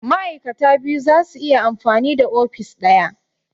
Ma'aikata biyu zasu iya amfani da ofis ɗaya